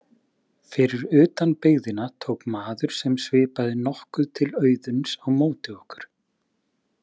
Fyrir utan byggðina tók maður sem svipaði nokkuð til Auðuns á móti okkur.